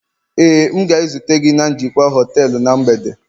Éè, m ga-ezute onye njikwa họtelu na mgbede